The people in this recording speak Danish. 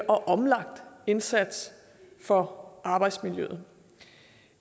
omlagt indsats for arbejdsmiljøet